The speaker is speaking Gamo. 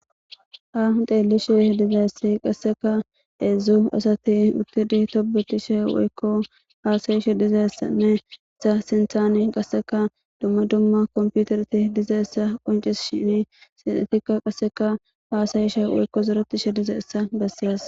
Haysa nu xelishe dizaysi qsseka hezhu asati eqidi tobetishe woyko hasayishe dizaysane eta sinthani qaseka duma duma kompiteretinne dizaysa qocisishini etika qaseka hasayishe woyko zoretishe dizaysa besses